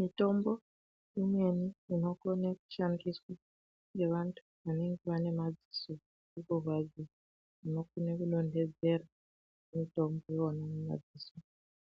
Mitombo imweni inokone kushandiswa ngevantu vanenge vane madziso anorwadza munokone kudontodzera mutombo wona wemadziso